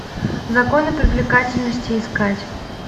законы привлекательности искать